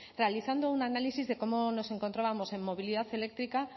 realizando un análisis de cómo nos encontrábamos en movilidad eléctrica